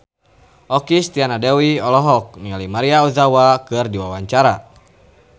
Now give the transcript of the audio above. Okky Setiana Dewi olohok ningali Maria Ozawa keur diwawancara